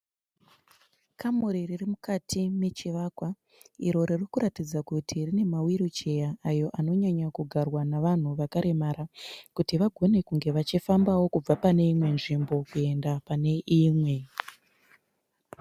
Kamuri riri mukati mechivakwa iro ririkuratidza kuti rine ma wiricheya ayo anonyanyokugarwa nevanhu vakaremara kuti vagone kunge vachifambao kubva pane imwe nzvimbokuenda pane imwe.